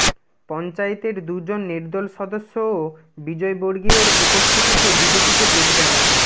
পঞ্চায়েতের দুজন নির্দল সদস্যও বিজয়বর্গীয়র উপস্থিতিতে বিজেপিতে যোগ দেন